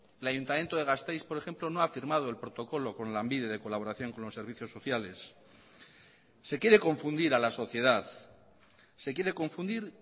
el ayuntamiento de gasteiz por ejemplo no ha firmado el protocolo con lanbide de colaboración con los servicios sociales se quiere confundir a la sociedad se quiere confundir